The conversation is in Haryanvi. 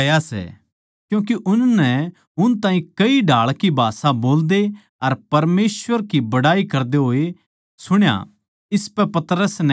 क्यूँके उननै उन ताहीं कई ढाळ की भाषा बोल्दे अर परमेसवर की बड़ाई करदे सुण्या इसपै पतरस नै कह्या